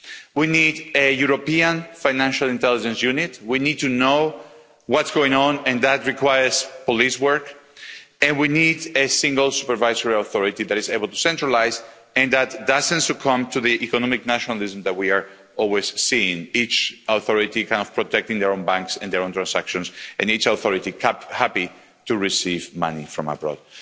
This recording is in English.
We need a European financial intelligence unit we need to know what is going on, and that requires police work. And we need a single supervisory authority that is able to centralise and doesn't succumb to the economic nationalism that we are always seeing, with each authority protecting their own banks and their own transactions, and each authority happy to receive money from abroad.